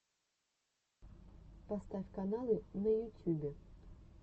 поставь каналы на ютюбе